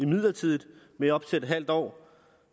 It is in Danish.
midlertidigt med op til en halv år